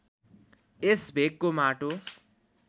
यस भेगको माटो